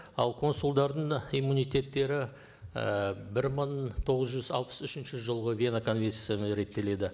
ал консулдардың иммунитеттері і бір мың тоғыз жүз алпыс үшінші жылғы вена конвенциясымен реттеледі